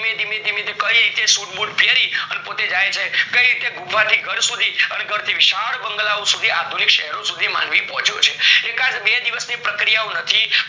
ધીમે ધીમે કાય રીતે suiteboot પેરી પોતે જાય છે કઈ રીતે ગુફા થી ઘર સુથી અને ઘર થી વિશાલ બંગલાઓ સુથી આધુનિક શેરો સુથી માનવી પહોચ્યો છે એકાદ બે દિવસ ની પ્રક્રિયા નથી